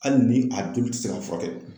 Hali ni a joli tɛ se ka furakɛ